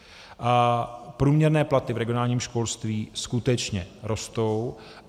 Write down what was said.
Průměrné platy v regionálním školství skutečně rostou.